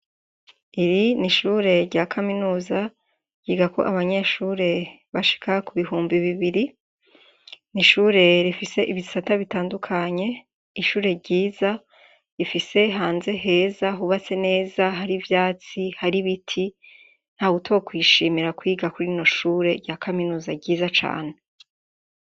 Iri ni ishure rya Kaminuza ryigako abanyeshure bashika ku bihumbi bibiri. N'ishure rifise ibisata bitandukanye ,ishure ryiza rifise hanze heza hubatse neza hari ivyatsi, hari ibiti, ntawutokwishimira kwiga kuri rino shure rya kaminuza ryiza cane.